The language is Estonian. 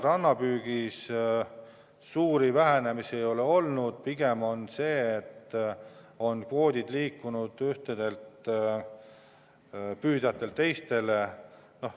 Rannapüügis suuri vähenemisi siiski ei ole olnud, pigem on kvoodid liikunud ühtedelt püüdjatelt teistele.